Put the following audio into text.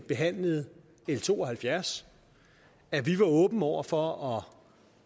behandlede l to og halvfjerds at vi var åbne over for at